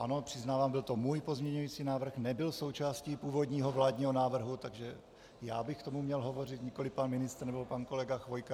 Ano, přiznávám, byl to můj pozměňující návrh, nebyl součástí původního vládního návrhu, takže já bych k tomu měl hovořit, nikoliv pan ministr nebo pan kolega Chvojka.